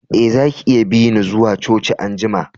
Eh, zaki iya bi ni zuwa coci an'jumma.